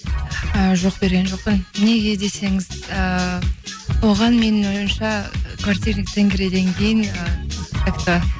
і жоқ берген жоқпын неге десеңіз ііі оған менің ойымша квартирный тенгриден кейін ы как то